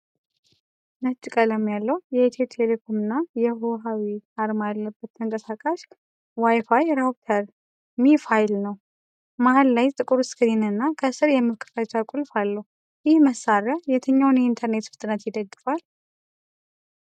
ነጭ ቀለም ያለው የኢትዮ ቴሌኮም (ethio telecom) እና የሁዋዌ (HUAWEI) አርማ ያለበት ተንቀሳቃሽ ዋይ ፋይ ራውተር (ሚ-ፋይ) ነው። መሃል ላይ ጥቁር ስክሪንና ከስር የመክፈቻ ቁልፍ አለው። ይህ መሳሪያ የትኛውን የኢንተርኔት ፍጥነት ይደግፋል?